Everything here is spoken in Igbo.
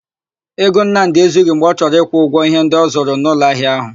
Ego Nnamdị ezughi mgbe ọ chọrọ ịkwụ ụgwọ íhé ndị ọ zụrụ n'ụlọahịa áhụ̀.